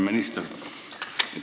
Hea minister!